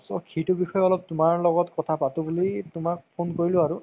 সেইটো বিষয় অলপ তুমাৰ লগত অলপ কথা পাতো বুলি তুমাক phone কৰিলো আৰু